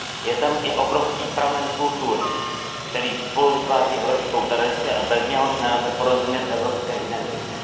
Je tam i obrovský pramen kultury, který spoluvytváří evropskou tradici a bez něhož nelze porozumět evropské identitě.